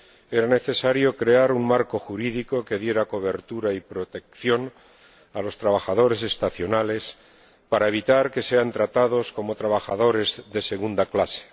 Era necesario crear un marco jurídico que diera cobertura y protección a los trabajadores estacionales para evitar que sean tratados como trabajadores de segunda clase.